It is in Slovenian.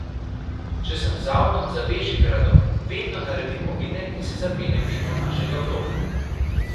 Če sem z avtom za Bežigradom, vedno naredim ovinek in se zapeljem mimo našega bloka.